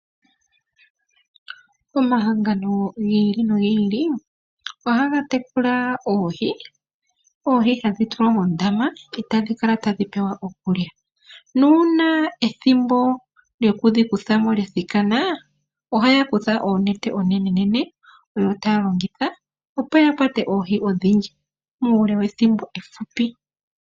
Omahangano gi ili nogi ili ohaga tekula oohi. Oohi ohadhi tulwa mondama etadhikala tadhipewa iikulya nongele ethimbo lyoku dhikuthamo lyathiki, ohayakutha oonete oonene opo yakwate oohi odhindji muule wethimbo efupi